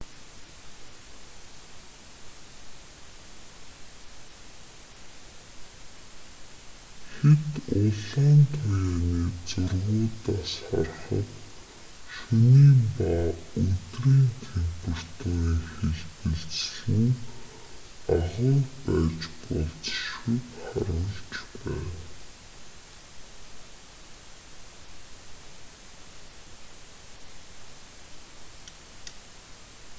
хэт улаан туяаны зургуудаас харахад шөнийн ба өдрийн температурын хэлбэлзэл нь агуй байж болзошгүйг харуулж байна